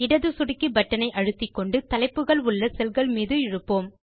இடது சொடுக்கி பட்டன் ஐ அழுத்திக்கொண்டு தலைப்புகள் உள்ள செல்கள் மீது இழுப்போம்